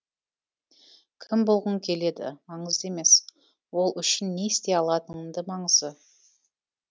кім болғың келеді маңызды емес ол үшін не істей алатының маңызы